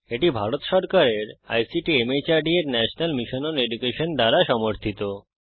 এটি ভারত সরকারের ICT MHRD এর ন্যাশনাল মিশন ওন এডুকেশন দ্বারা সমর্থিত